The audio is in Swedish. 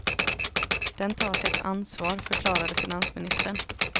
Den tar sitt ansvar, förklarade finansministern.